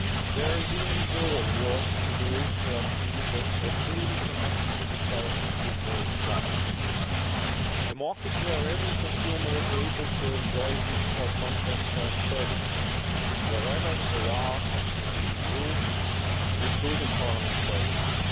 There is even more work to do to achieve a truly connected digital single market, a market where every consumer is able to enjoy digital content and services wherever they are in the EU including government services.